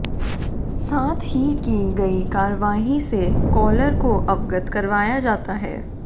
साथ ही की गई कार्यवाही से कॉलर को अवगत करवाया जाता है